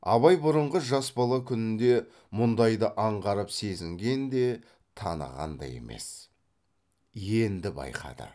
абай бұрынғы жас бала күнінде мұндайды аңғарып сезінген де таныған да емес енді байқады